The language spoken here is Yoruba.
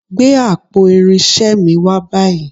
Gbé àpò irinṣẹ́ mi wá báyìí